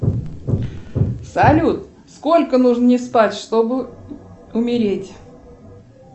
салют сколько нужно не спать чтобы умереть